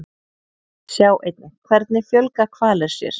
Sjá einnig Hvernig fjölga hvalir sér?